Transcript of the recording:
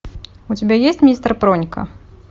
у тебя есть мистер пронька